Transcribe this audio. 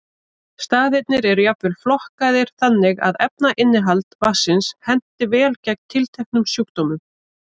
Staðirnir eru jafnvel flokkaðir þannig að efnainnihald vatnsins henti vel gegn tilteknum sjúkdómum.